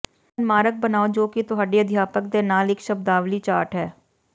ਇੱਕ ਮਨਮਾਰਕ ਬਣਾਓ ਜੋ ਕਿ ਤੁਹਾਡੇ ਅਧਿਆਪਕ ਦੇ ਨਾਲ ਇਕ ਸ਼ਬਦਾਵਲੀ ਚਾਰਟ ਹੈ